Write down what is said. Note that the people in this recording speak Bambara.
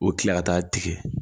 U bɛ kila ka taa tigɛ